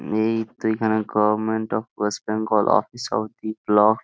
এই তো এইখানে government of West Bengal office of T block --